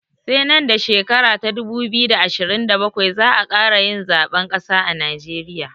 Sai nan da shekara ta dubu biyu da ashirin da bakwai za'a ƙara yin zaɓen ƙasa a najeriya